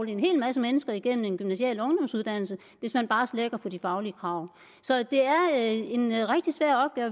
en hel masse mennesker igennem en gymnasial ungdomsuddannelse hvis man bare slækker på de faglige krav så det er en er rigtig svær